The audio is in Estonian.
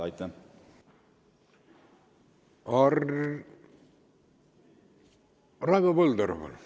Raivo Põldaru, palun!